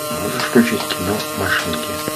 можешь включить кино машинки